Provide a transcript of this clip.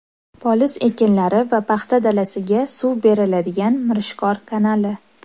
Poliz ekinlari va paxta dalasiga suv beriladigan Mirishkor kanali.